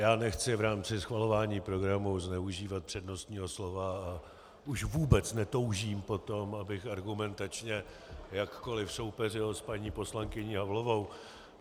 Já nechci v rámci schvalování programu zneužívat přednostního slova a už vůbec netoužím po tom, abych argumentačně jakkoli soupeřil s paní poslankyní Havlovou.